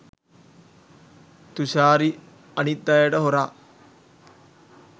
තුෂාරි අනිත් අයට හොරා